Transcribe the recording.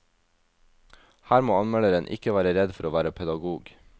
Her må anmelderen ikke være redd for å være pedagog.